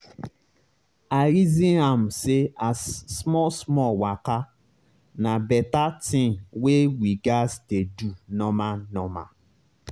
i reason am say as small small waka na beta tin wey we gas dey do normal normal